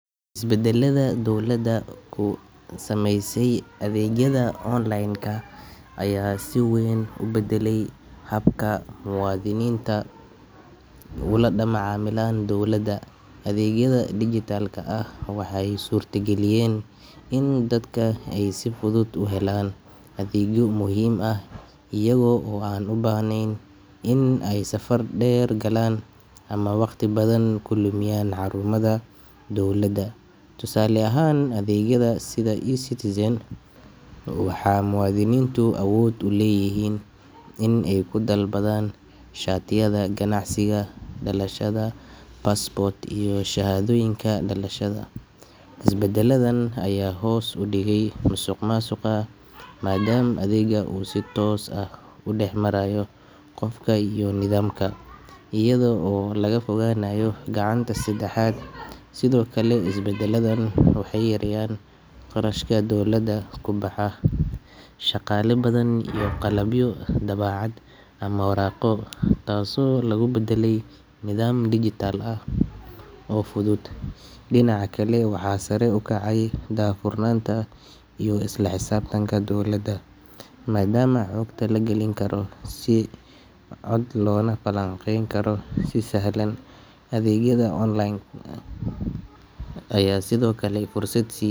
Isbedelada dowladdu ku samaysay adeegyada online ka ayaa si weyn u bedelay habka muwaadiniintu ula macaamilaan dowladda. Adeegyada dijitalka ah waxay suurtageliyeen in dadku ay si fudud u helaan adeegyo muhiim ah iyaga oo aan u baahnayn in ay safar dheer galaan ama waqti badan ku lumiyaan xarumaha dowladda. Tusaale ahaan, adeegyada sida eCitizen, waxaa muwaadiniintu awood u leeyihiin in ay ku dalbadaan shatiyada ganacsiga, dhalashada, passport iyo shahaadooyinka dhalashada. Isbedeladan ayaa hoos u dhigay musuqmaasuqa, maadaama adeeggu uu si toos ah u dhex marayo qofka iyo nidaamka, iyada oo laga fogaanayo gacanta saddexaad. Sidoo kale, isbedeladan waxay yareeyeen qarashka dowladda ku baxa shaqaale badan iyo qalabyo daabacaad ama waraaqo, taasoo lagu beddelay nidaam dijital ah oo fudud. Dhinaca kale, waxaa sare u kacay daahfurnaanta iyo isla xisaabtanka dowladda, maadaama xogta la galin karo si cad loona falanqayn karo si sahlan. Adeegyada online ka ayaa sidoo kale fursad sii.